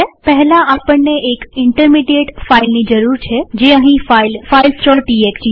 પહેલા આપણને એક ઇન્ટરમીડીએટ ફાઈલ ની જરૂર છેજે અહીં ફાઈલ filesટીએક્સટી છે